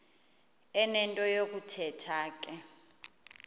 enento yokuthetha ke